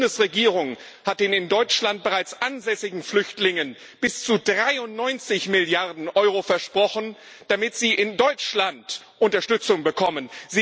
Alleine die Bundesregierung hat den in Deutschland bereits ansässigen Flüchtlingen bis zu 93 Milliarden Euro versprochen, damit sie in Deutschland Unterstützung bekommen.